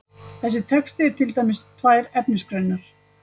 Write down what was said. Þessi texti er til dæmis tvær efnisgreinar.